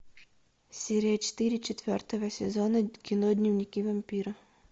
серия четыре четвертого сезона кино дневники вампира